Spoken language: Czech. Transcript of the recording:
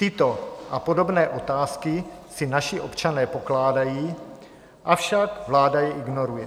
Tyto a podobné otázky si naši občané pokládají, avšak vláda je ignoruje.